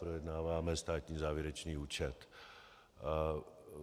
Projednáváme státní závěrečný účet.